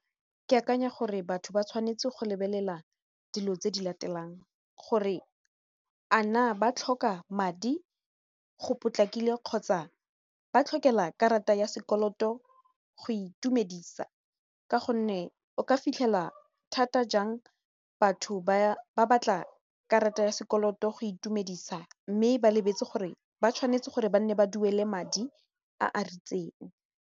Ke akanya gore batho ba tshwanetse go lebelela dilo tse di latelang gore a na ba tlhoka madi go potlakile kgotsa ba tlhokela karata ya sekoloto go itumedisa ka gonne o ka fitlhela thata jang batho ba batla karata ya sekoloto go itumedisa mme ba lebetse gore ba tshwanetse gore ba nne ba duele madi a a ritseng.